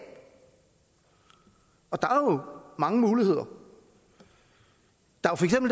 og der er mange muligheder der